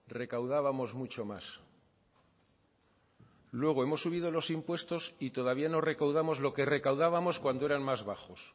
recaudábamos mucho más y luego hemos subido los impuestos y todavía no recaudamos lo que recaudábamos cuando eran más bajos